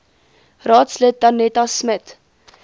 raadslid danetta smit